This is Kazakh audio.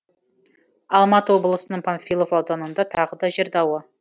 алматы облысының панфилов ауданында тағы да жер дауы